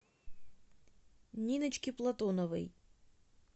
ниночке платоновой